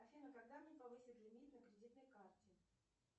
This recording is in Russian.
афина когда мне повысят лимит на кредитной карте